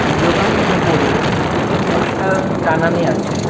জোকানটির ওপরে একটি পোস্টার টানানি আছে।